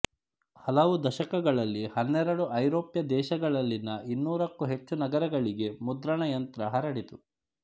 ಹಲವು ದಶಕಗಳಲ್ಲಿ ಹನ್ನೆರಡು ಐರೋಪ್ಯ ದೇಶಗಳಲ್ಲಿನ ಇನ್ನೂರಕ್ಕೂ ಹೆಚ್ಚು ನಗರಗಳಿಗೆ ಮುದ್ರಣ ಯಂತ್ರ ಹರಡಿತು